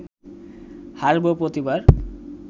হাসব প্রতিবার